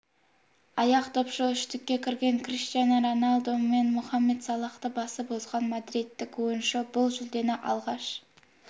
аяқдопшы үштікке кірген криштиану роналду мен мұхамед салахты басып озған мадридтік ойыншы бұл жүлдені алғаш